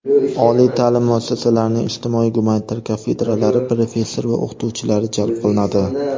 oliy ta’lim muassasalarining ijtimoiy gumanitar kafedralari professor va o‘qituvchilari jalb qilinadi;.